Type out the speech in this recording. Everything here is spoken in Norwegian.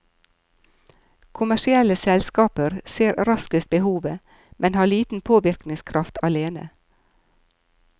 Kommersielle selskaper ser raskest behovet, men har liten påvirkningskraft alene.